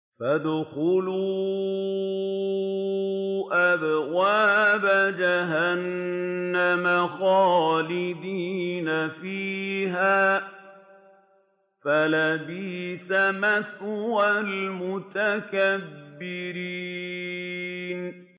فَادْخُلُوا أَبْوَابَ جَهَنَّمَ خَالِدِينَ فِيهَا ۖ فَلَبِئْسَ مَثْوَى الْمُتَكَبِّرِينَ